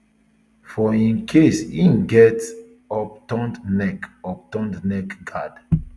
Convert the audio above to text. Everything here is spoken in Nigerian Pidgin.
for im case e get upturned neck upturned neck guard